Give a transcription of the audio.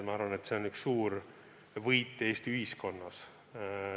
Ma arvan, et see on üks suur võit Eesti ühiskonnas.